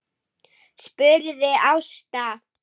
spurði Ásta.